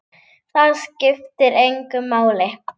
Það skiptir engu máli.